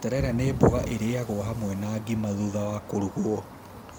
Terere nĩ mboga ĩrĩagwo hamwe na ngima thutha wa kũrugwo